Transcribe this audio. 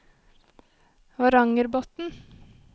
Varangerbotn